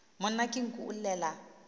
monna ke nku o llela